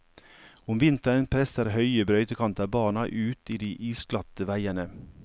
Om vinteren presser høye brøytekanter barna ut i de isglatte veiene.